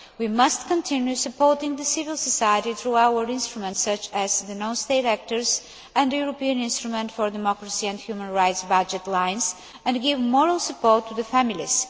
We must continue to support the civil society through our instruments, such as the non state actors and the European instrument for democracy and human rights budget lines, and give moral support to the families.